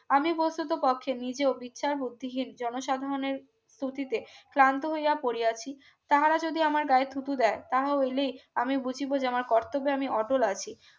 আমি বসুত পক্ষে নিজেও বিচার বুদ্ধিহীন জনসাধারণের খুশিতে ক্লান্ত হইয়া পড়িয়াছি তাহারা যদি আমার গায়ে থুতু দেয় তাহলে আমি বুঝিব যে আমার কর্তব্যে আমি অটল আছি